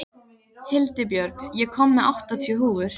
Hildibjörg, ég kom með áttatíu húfur!